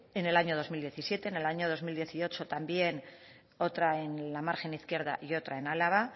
en el año dos mil diecisiete en el año dos mil dieciocho también otra en la margen izquierda y otra en álava